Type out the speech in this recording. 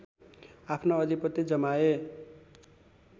आफ्नो अधिपत्य जमाए